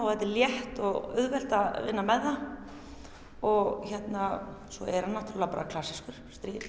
þetta er létt og auðvelt að vinna með það og svo er hann náttúrulega bara klassískur